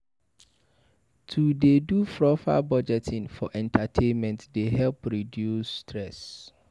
To dey do proper budgeting for entertainment dey help reduce stress.